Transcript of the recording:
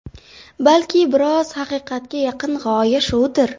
Balki biroz haqiqatga yaqin g‘oya shudir?